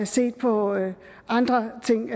set på andre ting